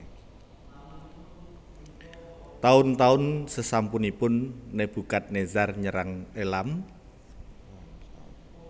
Taun taun sesampunipun Nebukadnezar nyerang Elam